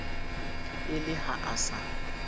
e le ha a sa